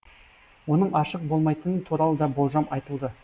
оның ашық болмайтыны туралы да болжам айтылды